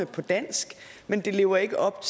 på dansk men det lever ikke op